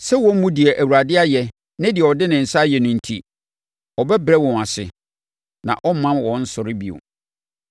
Sɛ wɔmmu deɛ Awurade ayɛ ne deɛ ɔde ne nsa ayɛ no enti, ɔbɛbrɛ wɔn ase na ɔremma wɔnnsɔre bio.